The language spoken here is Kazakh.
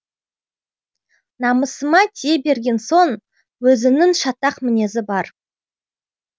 намысыма тие берген соң өзінің шатақ мінезі бар